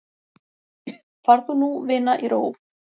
Far þú nú vina í ró.